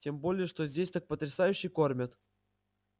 тем более что здесь так потрясающе кормят